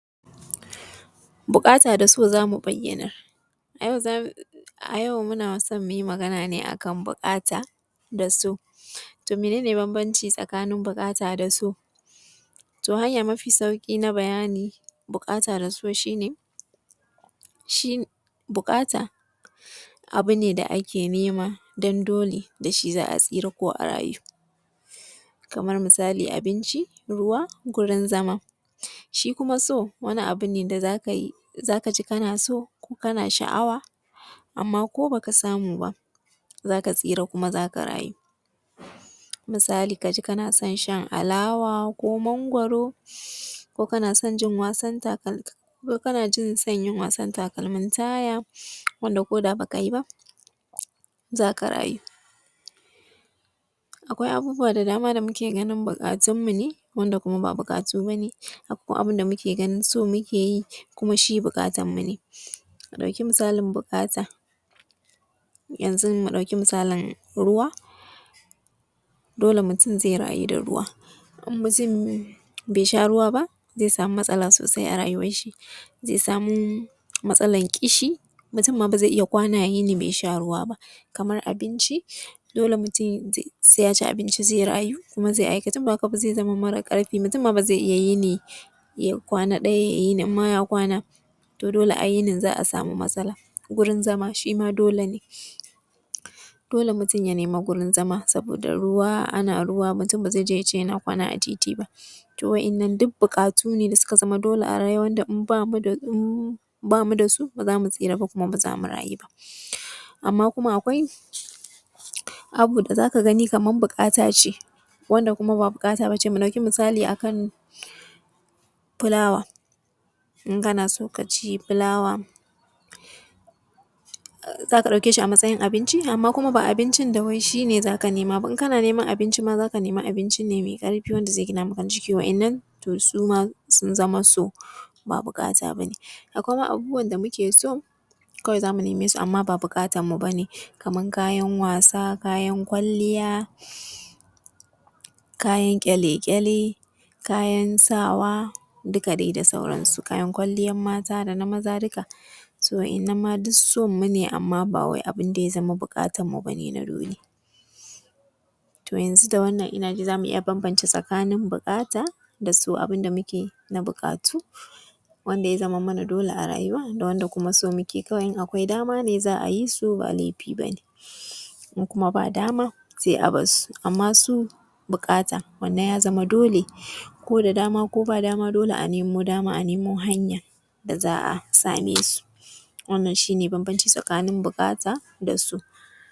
Buƙata da so za mu bayyanar, a yau muna so za mu yi magana ne a kan buƙata da so. To mene bambanci tsakanin buƙata da so? Zan yi magana ne akan yadda mutun zai samu sauƙi idan ya tsinci kansa cikin wani damuwa wanda zai rasa yaya dai zai gudana da wasu al’amuransa, wato idan aka ce mutun yana cikin wata damuwa mai tsanani shi ne mutumin da ba za ya iya ya zauna ya yi maka tunani cewa mene ne mafita dangane da wannan matsala da ya tsinci kansa a ciki ba ko kuma dalilin da ya sa ya tsinci kansa cikin wannan matsalan. Sannan wato samar da kai ma cikin wata matsala ya kasu kashi biyu, idan mutun ya tsinci kansa a wani yanayi da ya sa shi haushi zai iya tunani mene ne ya sa shi haushin, sannan kuma kila zai yi wata tunani saboda ya kawar da wannan tunani da yake tattare da shi shiko wanda ya tsinci kansa cikin wani mummunan yanayi wanda ba ya iya gane mene ne abu mai kyau mene ne mare kyau, zai iya ma salwantar da rayuwansa saboda ya rasa mene ne yake masa daɗi. To, duk dai wanda ya tsinci kansa cikin wannan yanayin to yana buƙatan a dan zaunar da shi a ba shi shawarwari akan wannan abu da ya sa shi cikin tsattsauran damuwa a rayuwansa. Zan yi bayani ne a yadda za ka zao abun kwaikwayo ga wasu, ma’ana wasu su ga wasu cikin ɗabi’unka suna kwaikwayon abun da kake yi ko kuma abun da ka yi na farko kafin mutane su kwaikwayi abun da kake yi mai kyau ko na wajen aiki lallai sai ka zama mai haƙuri sannan kuma sai ka zama mai tausayi, sannan sai ya zama kasan yadda ya kamata. Akwai yanayi da yake nuna cewa e lallai za a kawaikwaye ka na farko shi ne ka zama kana gane ina ne matsala take cikin abokan aikinka ko cikin jama’a sannan sai kai ƙoƙarin samar da mafita yana da kyau ka iya gane halin da mutane suke ciki, sannan kai sai ka yi ƙoƙarin cewa to mene ne idan ka yi mutane za su fita daga cikin wannan jaraba ko kuma su sami sauƙi. Na uku kuma ya zamanto kana da kyau wajen shugabanci shi ne ƙoƙarin daidaita al’amura duk wani abun da ya sami matsala ya zama kana da ilimin da za ka daidaita shi musamman ma a wajen aiki duka abun da ka ga cewa yana ƙoƙarin lalacewa ya zamanto cewa ka gane hanya, to mene ne hanyan da za a bi saboda ai gyara? Sannan kuma a matsayinka na wanda ake so a kwaikwaye ka sai ka mutun ne mai zauna wa ya yi nazari ya yi tunanin wani abu sabo ya zama kana kawo maslahan wani abu da yake faruwa ko kuma wani abu da zai iya faruwa. To, a takaice dai idan kana so ka zama abun kwaikwayo to lallai sai ka yi abun da mutane za su iya gane cewa e ka cancanci ka zama abun kwaikwayo ta wajen ilimi da fasaha da na lissafo za ka yi amfani da su ka nuna ma mutane cewa ka san abun da ya kamata sannan mutanen kuma za ka iya zama musu abun kwaikwayo. To yanzu da wannan za mu iya bambance tsakanin so da buƙata, wannan shi ne bambanci tsakain so da buƙata.